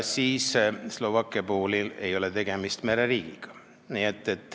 Slovakkia ei ole mereriik.